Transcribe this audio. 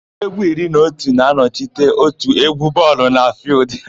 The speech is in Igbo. Ndị égwú iri na otu na-anọchite òtù égwú bọọlụ na fịịldụ.